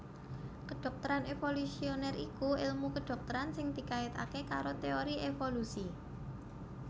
Kedhokteran evolusioner iku èlmu kedhokteran sing dikaitaké karo teori evolusi